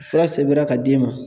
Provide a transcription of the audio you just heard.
Fura sɛbɛnna ka d'i ma